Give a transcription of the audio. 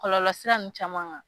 Kɔlɔlɔ sira ninnu caman kan